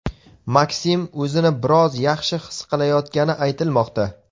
MakSim o‘zini biroz yaxshi his qilayotgani aytilmoqda.